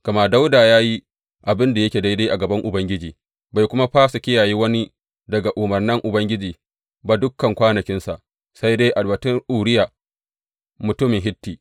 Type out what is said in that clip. Gama Dawuda ya yi abin da yake daidai a gaban Ubangiji, bai kuma fasa kiyaye wani daga umarnan Ubangiji ba dukan kwanakinsa, sai dai a batun Uriya mutumin Hitti.